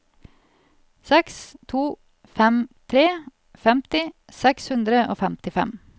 seks to fem tre femti seks hundre og femtifem